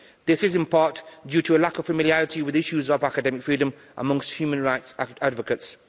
This is in part due to a lack of familiarity with issues of academic freedom amongst human rights advocates